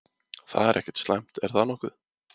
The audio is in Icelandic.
Það er ekkert slæmt, er það nokkuð?